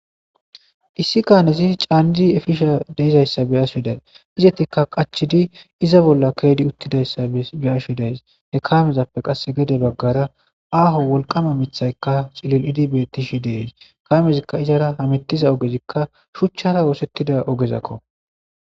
Issi kaanesis caanji efisha deizayssa beyashedays izetikka qachidi iza bolla kredi uttidayssa beyashedays ne kamezappe qasse gede baggara aaho wolqama mithaykka xillil7idibetishi dees kamezikka izara hamettiza ogezikka shuchchara woosettida ogezakko